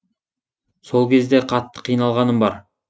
сол кезде қатты қиналғаным бар